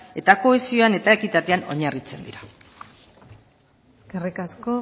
eta kohesioan eta ekitatean oinarritzen dira eskerrik asko